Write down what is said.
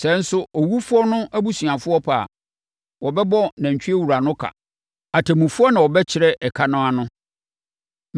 Sɛ nso owufoɔ no abusuafoɔ pɛ a, wɔbɛbɔ nantwiewura no ka. Atemmufoɔ na wɔbɛkyerɛ ɛka no ano.